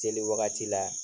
Seli wagati la